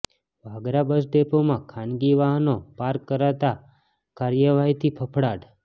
Vagra bus ડેપોમાં ખાનગી વાહનો પાર્ક કરતા કાર્યવાહીથી ફફડાટ